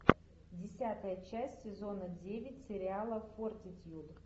десятая часть сезона девять сериала фортитьюд